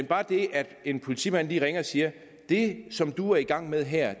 bare det at en politimand lige ringer og siger det som du er i gang med her